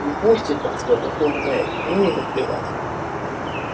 не пустят нас в это турне ну и наплевать